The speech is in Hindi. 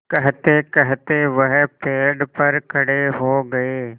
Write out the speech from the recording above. कहतेकहते वह पेड़ पर खड़े हो गए